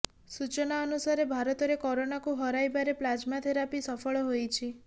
ସୂଚନା ଅନୁସାରେ ଭାରତରେ କରୋନାକୁ ହରାଇବାରେ ପ୍ଲାଜମା ଥେରାପି ସଫଳ ହୋଇଛି